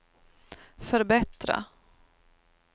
förbättra